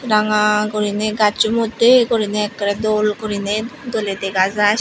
ranga guriney gaccho moddhey guriney ekkerey dol guriney doley dega jai.